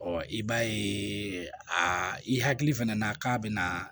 i b'a ye a i hakili fɛnɛ na k'a bɛna